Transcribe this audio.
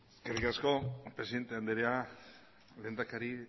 eskerrik asko presidente andrea lehendakari